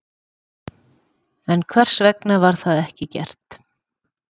En hvers vegna var það ekki gert?